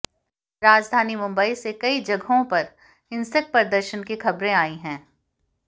राजधानी मुंबई से कई जगहों पर हिंसक प्रदर्शन की खबरें आई हैं